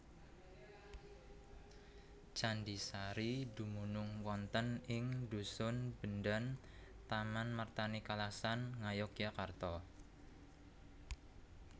Candhi Sari dumunung wonten ing dhusun Bendan Tamanmartani Kalasan Ngayogyakarta